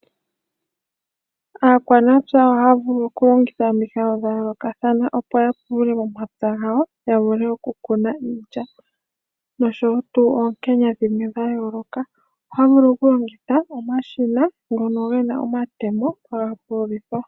Aakwanapya ohaya vulu okulongitha omikalo dha yoolokathana opo ya pulule omapya gawo yavule okukuna iilya noonkenya dhimwe dha yooloka. Ohaya vulu okulongitha omashina ngono gena omatemo haga pululithwa.